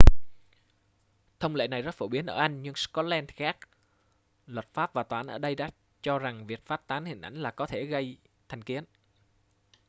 thông lệ này rất phổ biến ở anh nhưng scotland thì khác luật pháp và tòa án ở đây đã cho rằng việc phát tán hình ảnh là có thể gây thành kiến